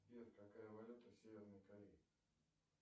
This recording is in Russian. сбер какая валюта в северной корее